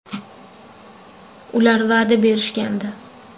Ular va’da berishgandi.